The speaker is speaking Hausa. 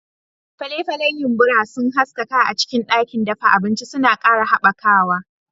Fale-falen yumbura sun haskaka a cikin ɗakin dafa abinci, suna ƙara haɓakawa.